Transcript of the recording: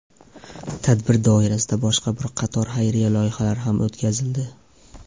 Tadbir doirasida boshqa bir qator xayriya loyihalari ham o‘tkazildi.